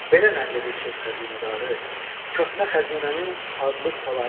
Belə nəql edir söz xəzinədarı, köhnə xəzinənin adlı saları.